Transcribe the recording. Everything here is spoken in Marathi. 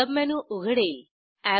सबमेनू उघडेल